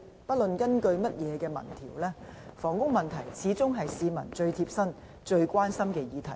不論根據甚麼民調，房屋問題始終是市民最貼身、最關心的議題。